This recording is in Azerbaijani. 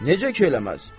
Necə ki eləməz?